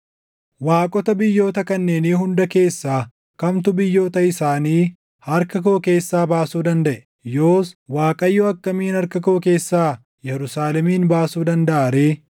Waaqota biyyoota kanneenii hunda keessaa kamtu biyyoota isaanii harka koo keessaa baasuu dandaʼe? Yoos Waaqayyo akkamiin harka koo keessaa Yerusaalemin baasuu dandaʼa ree?”